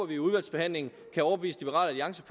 vi i udvalgsbehandlingen kan overbevise liberal alliance